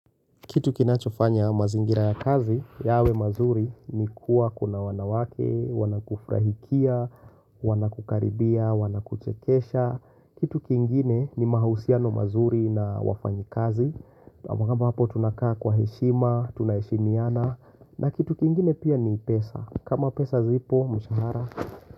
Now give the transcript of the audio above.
Kitu kinachofanya mazingira ya kazi yawe mazuri ni kuwa kuna wanawake, wanakufrahikia, wanakukaribia, wanakuchekesha. Kitu kingine ni mahausiano mazuri na wafanyakazi Amangama hapo tunakaa kwa heshima, tunaheshimiana. Na kitu kingine pia ni pesa. Kama pesa zipo, mishahara.